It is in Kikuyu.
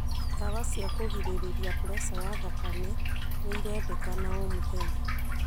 Ndawa cia kũgirĩrĩria preca ya thakame nĩirendekana o mũthenya